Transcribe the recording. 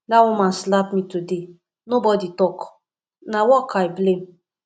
dat woman slap me today nobody talk na work i dey blame